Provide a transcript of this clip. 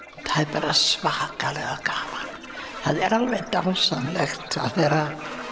bara svakalega gaman það er alveg dásamlegt að vera